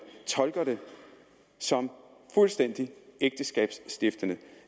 som fuldstændig ægteskabsstiftende